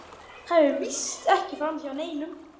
Það fer víst ekki framhjá neinum.